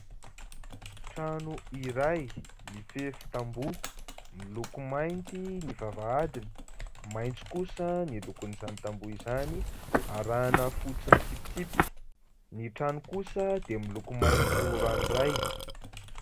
Trano iray mifefy tamboha. Miloko mainty ny vavahadiny, maitso kosa ny lokon'izany tamboha izany arahana fotsy mitsipitsipika. Ny trano kosa dia miloko maitso ranoray.